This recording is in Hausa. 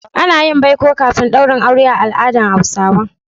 Ana yin baiko kafin daurin aure a al'adar Hausawa.